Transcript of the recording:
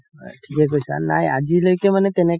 থিকে কৈছা নাই আজিলৈকে মানে তেনেকা